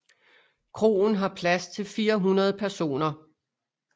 Kroen har plads til 400 personer